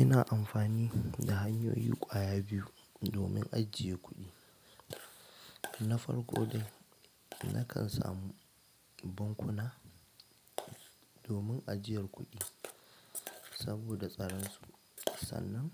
Ina amfani da hanyoyi ƙwaya biyu domin ajiye kuɗi. Na farko dai nakan samu bankuna domin ajiyar kuɗi saboda tsaran su, sannan